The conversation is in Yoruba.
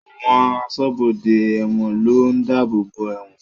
Àwọn aṣọ́bodè ẹ̀wọ̀n ló ń dáàbòbò ẹ̀wọ̀n